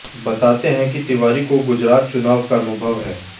बताते हैं कि तिवारी को गुजरात चुनाव का अनुभव है